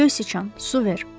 Göy sıçan, su ver!